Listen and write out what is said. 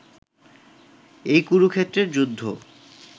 এই কুরুক্ষেত্রের যুদ্ধ